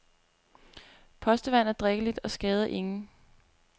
Postevand er drikkeligt og skader ingen.